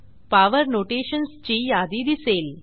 power notations ची यादी दिसेल